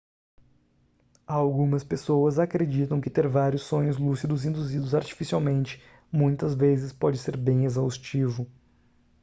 algumas pessoas acreditam que ter vários sonhos lúcidos induzidos artificialmente muitas vezes pode ser bem exaustivo